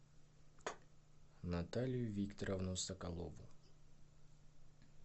наталию викторовну соколову